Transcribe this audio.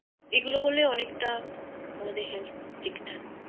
এগুলো করলে অনেকটা আমাদের Help হবে ঠিক ঠাক